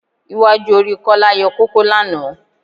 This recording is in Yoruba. Iwájú orí Kọ́lá yọ kókó lánàá